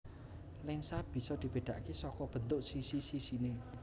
Lensa bisa dibedakake saka bentuk sisi sisine